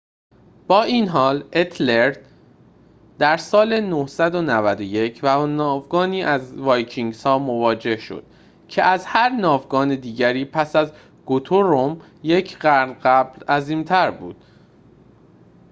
با این حال اتِلرِد در سال ۹۹۱ با ناوگانی از وایکینگ‌ها مواجه شد که از هر ناوگان دیگری پس از گوترومِ یک قرن قبل عظیم‌تر بود